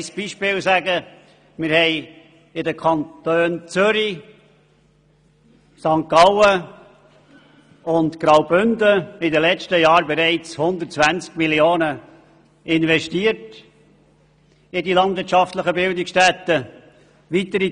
Wir haben in den Kantonen Zürich, St. Gallen und Graubünden in den letzten Jahren bereits 120 Mio. Franken in die landwirtschaftlichen Bildungsstätten investiert.